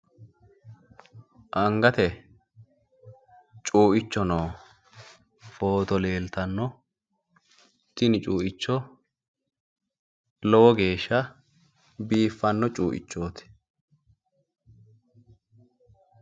Angate cuuicho nooho footo leeltanno tini cuuicho lowo geeshsha biiffanno cuuichooti.